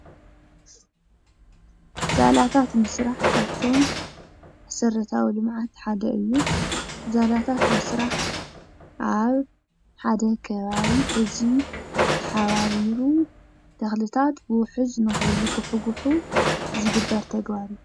ዛላታት ምስራሕ ካብቲ መሰረታዊ ልምዓት ሓደ እዩ፡፡ ዛላታት ምስራሕ ኣብ ሓደ ከባቢ ህዝቢ ተሓባቢሩ ተኽልታት ብውሕጁ ንኸይጉሕጒሑ ዝግበር ተግባር እዩ፡፡